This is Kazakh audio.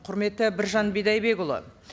құрметті біржан бидайбекұлы